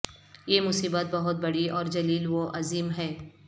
یہ مصیبت بہت بڑی اور جلیل و عظیم ہے